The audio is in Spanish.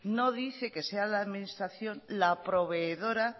no dice que sea la administración la proveedora